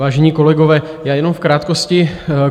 Vážení kolegové, já jenom v krátkosti.